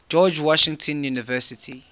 george washington university